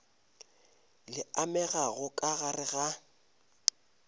le amegago ka gare ga